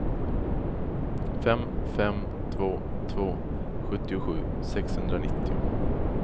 fem fem två två sjuttiosju sexhundranittio